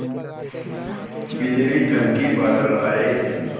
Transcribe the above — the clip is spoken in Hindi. बिजली चमकी बादल आए